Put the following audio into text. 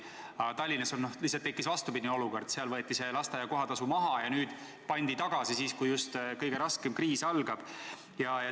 Aga Tallinnas lihtsalt tekkis vastupidine olukord: seal võeti lasteaia kohatasu maha ja nüüd pandi tagasi, just nüüd, kui kõige raskem kriis algab.